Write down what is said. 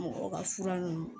Mɔgɔw ka fura ninnu